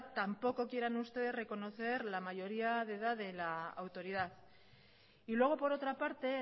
tampoco quieran ustedes reconocer la mayoría de edad de la autoridad y luego por otra parte